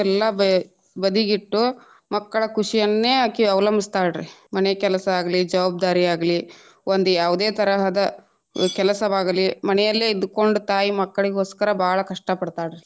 ಎಲ್ಲಾ ಬ~ ಬದಿಗಿಟ್ಟು ಮಕ್ಕಳ ಖುಷಿಯನ್ನೇ ಅಕಿ ಅವಲಂಬಿಸ್ತಾಳ ರೀ ಮನೆ ಕೆಲಸಾ ಆಗ್ಲಿ ಜವಾಬ್ದಾರಿಯಾಗ್ಲಿ ಒಂದ್ ಯಾವದೆ ತರಹದ ಕೆಲಸವಾಗಲಿ ಮನೆಯಲ್ಲಿ ಇದ್ದಕೊಂಡ ತಾಯಿ ಮಕ್ಕಳಿಗೊಸ್ಕರ ಬಾಳ ಕಷ್ಟ ಪಡತಾಳರೀ.